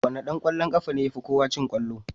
Wane dan kwallon kafa ne yafi kowa cin kwallo?